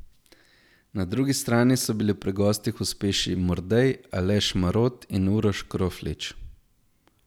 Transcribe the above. Na drugi strani so bili pri gostih uspešni Mordej, Aleš Marot in Uroš Kroflič.